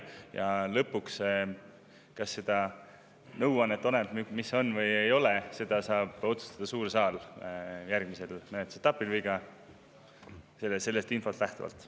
Ja lõpuks, kas me seda nõuannet – oleneb, mis see on või ei ole –, saab otsustada suur saal järgmises menetlusetapis või sellest infost lähtuda.